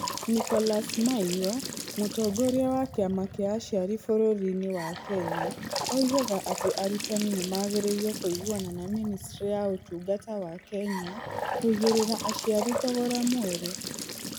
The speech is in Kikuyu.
Nicholas Maiyo, mũtongoria wa kĩama kĩa aciari bũrũri-inĩ wa Kenya, oigaga atĩ arutani nĩ magĩrĩire kũiguana na Ministry ya Ũtungata wa Kenya kũigĩrĩra aciari thogora mwerũ.